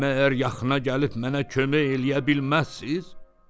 Məyər yaxına gəlib mənə kömək eləyə bilməzsiz?